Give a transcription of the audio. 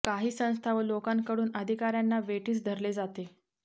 काही संस्था व लोकांकडून अधिकाऱ्यांना वेठीस धरले जाते